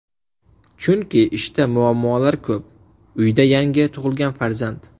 Chunki ishda muammolar ko‘p, uyda yangi tug‘ilgan farzand.